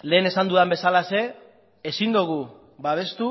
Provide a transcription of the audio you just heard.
lehen esan dudan bezalaxe ezin dugu babestu